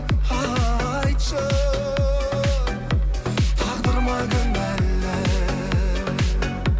айтшы тағдыр ма кінәлі